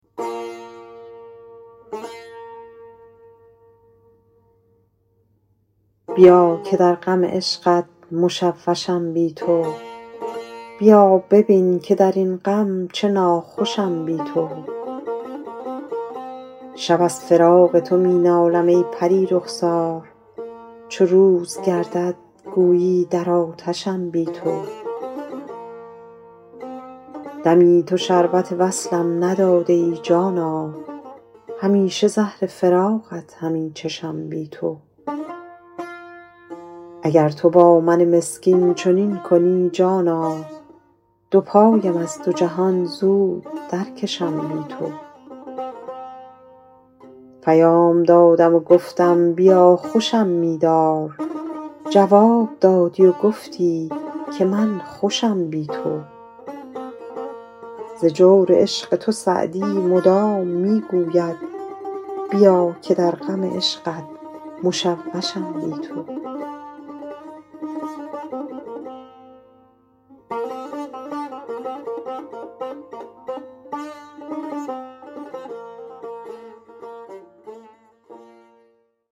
بیا که در غم عشقت مشوشم بی تو بیا ببین که در این غم چه ناخوشم بی تو شب از فراق تو می نالم ای پری رخسار چو روز گردد گویی در آتشم بی تو دمی تو شربت وصلم نداده ای جانا همیشه زهر فراقت همی چشم بی تو اگر تو با من مسکین چنین کنی جانا دو پایم از دو جهان نیز درکشم بی تو پیام دادم و گفتم بیا خوشم می دار جواب دادی و گفتی که من خوشم بی تو